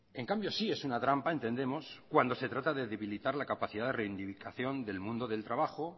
en cambio sí es una trampa entendemos cuando se trata de debilitar la capacidad de reivindicación del mundo del trabajo